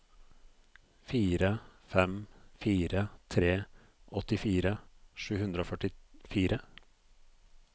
fire fem fire tre åttifire sju hundre og førtifire